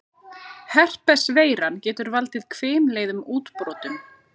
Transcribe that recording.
Herpes-veiran getur valdið hvimleiðum útbrotum.